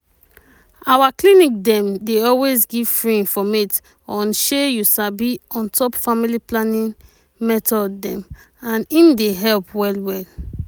our clinic dem dey always give free informate on shey you sabi on top family planning method dem and im dey help well well.